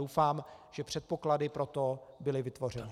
Doufám, že předpoklady pro to byly vytvořeny.